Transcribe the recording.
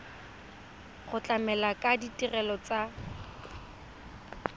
go tlamela ka ditirelo tsa